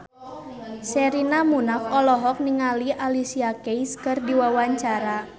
Sherina Munaf olohok ningali Alicia Keys keur diwawancara